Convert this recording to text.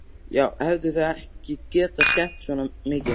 Þá hefðu þau ekki getað skemmt svona mikið.